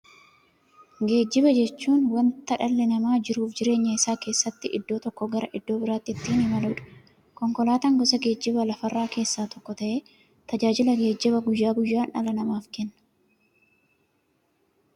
Geejjiba jechuun wanta dhalli namaa jiruuf jireenya isaa keessatti iddoo tokko gara iddoo birootti ittiin imaluudha. Konkolaatan gosa geejjibaa lafarraa keessaa tokko ta'ee, tajaajila geejjibaa guyyaa guyyaan dhala namaaf kenna.